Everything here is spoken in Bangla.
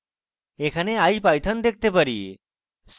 এখানে ipython দেখতে পারি